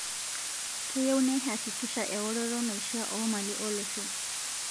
Keyieu neihakikisha eworoto neishiaa oo mali o losho